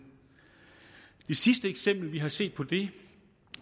det sidste eksempel vi har set på det